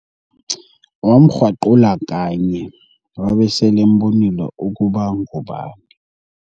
Wamkrwaqula kanye wabe selembonile ukuba ngubani.